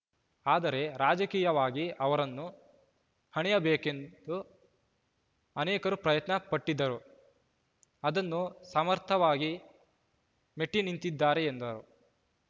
ಆದರೆ ರಾಜಕೀಯವಾಗಿ ಅವರನ್ನು ಹಣಿಯಬೇಕೆಂದು ಅನೇಕರು ಪ್ರಯತ್ನ ಪಟ್ಟಿದ್ದರೂ ಅದನ್ನು ಸಮರ್ಥವಾಗಿ ಮೆಟ್ಟಿನಿಂತಿದ್ದಾರೆ ಎಂದರು